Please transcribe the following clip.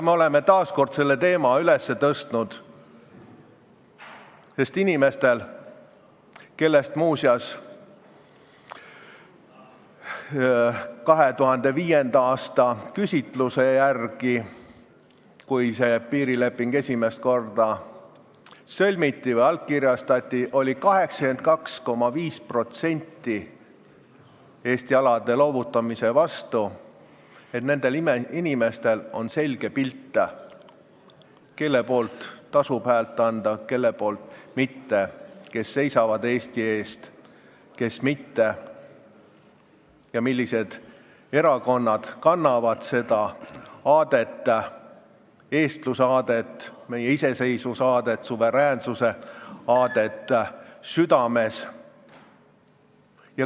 Me oleme taas kord selle teema üles tõstnud, ning inimestel, kellest muuseas 2005. aasta küsitluse järgi, kui see piirileping esimest korda allkirjastati, 82,5% olid Eesti alade loovutamise vastu, on selge pilt, kelle poolt tasub häält anda, kelle poolt mitte, kes seisavad Eesti eest, kes mitte, ja millised erakonnad kannavad südames eestluse aadet, meie iseseisvuse aadet, suveräänsuse aadet.